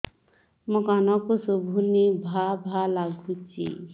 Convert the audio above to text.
ମୋ କାନକୁ ଶୁଭୁନି ଭା ଭା ଲାଗୁଚି